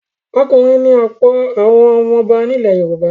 Ọkùnrin ni ọ̀pọ̀ àwọn ọba ilẹ̀ Yorùbá.